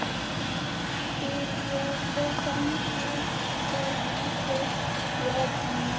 spyr ég og þen lævísi í rödd mína.